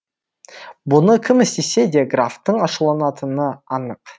бұны кім істесе де графтың ашуланатыны анық